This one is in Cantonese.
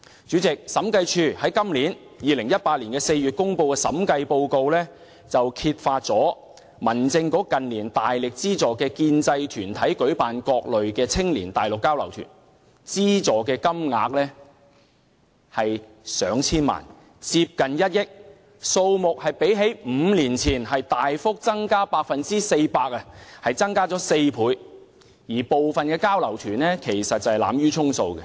主席，審計署在今年2018年4月公布的《審計署署長報告書》中，揭發民政事務局近年大力資助建制派團體舉行各類青年內地交流團，資助金額逾1億元，較5年前大幅增加 400%， 但當中有部分交流團只屬濫竽充數。